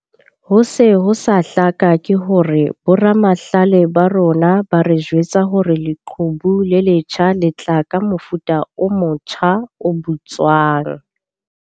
Ho se ho sa hlaka ke hore boramahlale ba rona ba re jwetsa hore leqhubu le letjha le tla tla ka mofuta o motja o bitswang.